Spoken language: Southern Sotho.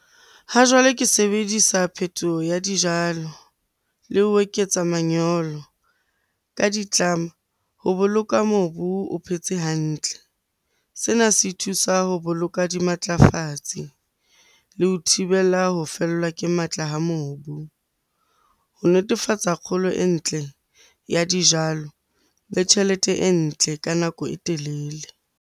Ha jwale ke sebedisa phetoho ya dijalo le ho eketsa manyolo ka ditlama ho boloka mobu o phetse hantle. Sena se thusa ho boloka dimatlafatsi le ho thibela ho fellwa ke matla ha mobu ho netefatsa kgolo e ntle ya dijalo le tjhelete e ntle ka nako e telele.